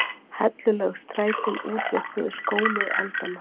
Hellulögð strætin útvörpuðu skónið aldanna.